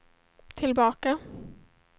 tillbaka